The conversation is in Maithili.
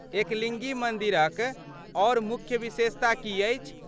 एकलिङ्गी मन्दिरक आर मुख्य विशेषता की अछि?